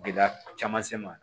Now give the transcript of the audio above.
Gɛlɛya caman se ma